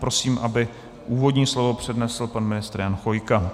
Prosím, aby úvodní slovo přednesl pan ministr Jan Chvojka.